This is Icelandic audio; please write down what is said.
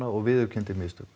og viðurkenndi mistök